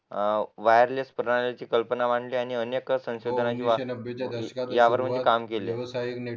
wireless net कल्पना मांडली आणि अनेक संशोधन यावरून काम केले